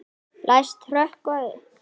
Læst hrökkva upp.